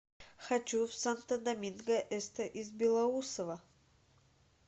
хочу в санто доминго эсте из белоусово